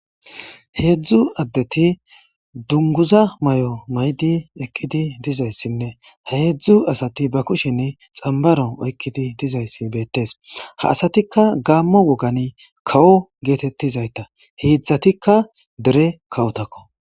heedzdzu addeti dunguza may7o maydi ekkidi dizayssinne h eedzdzu asati ba kushen xambaro oykkidi dizayssi beettees ha asatikka gaammo wogan kawo geetettizayta heedzdzatikka dere kawotakko